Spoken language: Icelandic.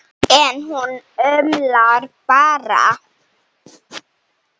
En hún umlar bara.